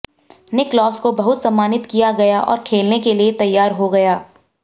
Nicklaus को बहुत सम्मानित किया गया और खेलने के लिए तैयार हो गया